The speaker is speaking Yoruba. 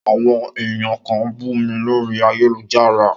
Áwõn èyan kan n bú mí lòrí àyélujárá